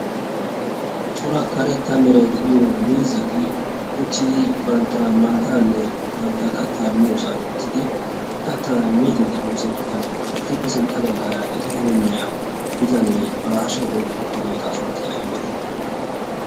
Cora karetta Meray de'iyo miizzati uttidi bantta maataanne bantta kattaa miyosan uttidi kattaa miiddi de'iyo sinttan etuppe sintta baggaara eta heemmiya bitanee ba hashiyan oyikkidi uttido iqaa sunttay ayibee?